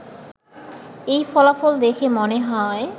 এই ফলাফল দেখে মনে হয়